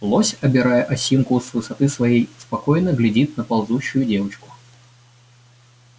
лось обирая осинку с высоты своей спокойно глядит на ползущую девочку